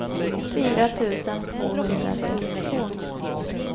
fyra tusen tvåhundratrettiotvå